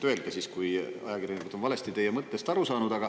Öelge, kui ajakirjanikud on valesti teie mõttest aru saanud.